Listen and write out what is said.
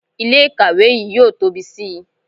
Ilé ìkàwé yìí yóò tóbi sí i